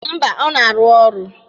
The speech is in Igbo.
Mba, ọ na-arụ ọrụ.